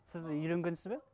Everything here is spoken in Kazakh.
сіз үйленгенсіз бе